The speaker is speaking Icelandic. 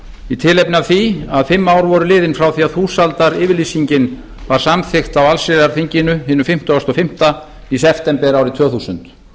í tilefni af því að fimm ár voru liðin frá því að þúsaldaryfirlýsingin var var samþykkt á allsherjarþinginu hinu fimmtugasta og fimmta í september árið tvö þúsund